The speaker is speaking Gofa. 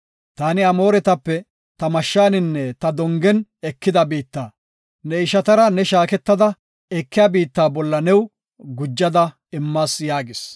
Taani Amooretape ta mashshaninne ta dongen ekida biitta, ne ishatara ne shaaketada ekiya biitta bolla new gujada immas” yaagis.